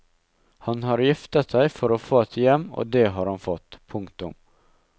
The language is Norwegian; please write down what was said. Han har giftet seg for å få et hjem og det har han fått. punktum